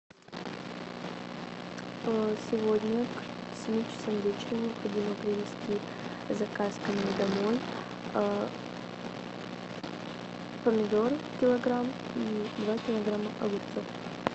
сегодня к семи часам вечера необходимо привезти заказ ко мне домой помидоры килограмм и два килограмма огурцов